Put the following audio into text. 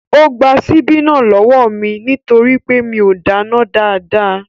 Ó gba síbí náà lọ́wọ́ mí nítorí pé mi o dáná dáadáa.